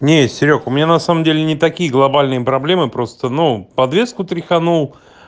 не серёг у меня на самом деле не такие глобальные проблемы просто ну подвеску тряханул